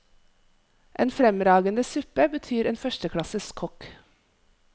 En fremragende suppe betyr en førsteklasses kokk.